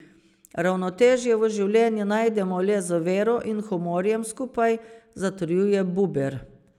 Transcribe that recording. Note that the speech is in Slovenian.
Ravnotežje v življenju najdemo le z vero in humorjem skupaj, zatrjuje Buber.